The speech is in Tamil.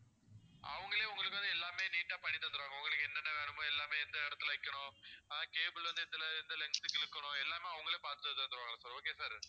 அவங்களே உங்களுக்கு வந்து எல்லாமே neat டா பண்ணி தந்துடுவாங்க உங்களுக்கு என்ன என்ன வேணும்மோ எல்லாமே எந்த இடத்துல வைக்கணும் cable வைக்கணும் வந்து எந்த length க்கு இழுக்கணும் எல்லாமே அவங்களே பார்த்து தந்துடுவாங்க okay வா sir